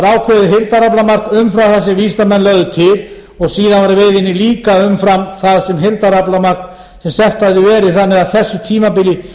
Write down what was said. ákveðið heildaraflamark umfram það sem vísindamenn lögðu til og síðan líka umfram það sem heildaraflamark sem sett hafði verið þannig á þessu tímabili